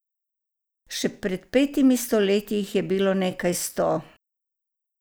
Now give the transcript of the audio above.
Še pred petimi stoletji jih je bilo nekaj sto.